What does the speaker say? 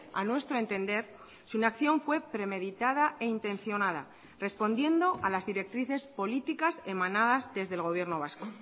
a nuestro entender su inacción fue premeditada e intencionada respondiendo a las directrices políticas emanadas desde el gobierno vasco